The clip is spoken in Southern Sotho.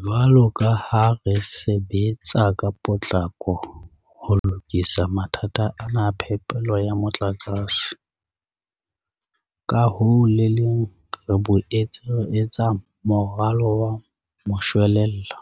Jwalo ka ha re sebetsa ka potlako ho lokisa mathata ana a phepelo ya motlakase, ka ho le leng re boetse re etsa moralo wa moshwelella